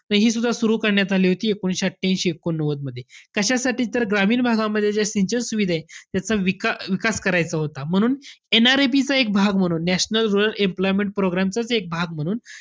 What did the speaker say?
त हि सुद्धा सुरु करण्यात आली होती. एकोणीशे अठ्ठयांशी एकोणनव्वदमध्ये. कशासाठी? तर ग्रामीण भागामध्ये ज्या सिंचन सुविधा आहेत. त्याचा विका~ विकास करायचा होता. म्हणून NREP चा भाग म्हणून, नॅशनल रूरल एम्प्लॉयमेंट पप्रोग्रॅमचाच एक भाग म्हणून,